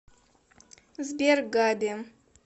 сбер габи